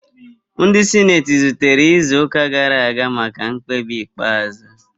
Ndị sineti zutere izu ụka gara aga maka mkpebi ikpeazụ